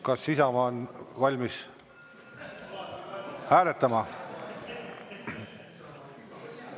Kas Isamaa on valmis hääletama?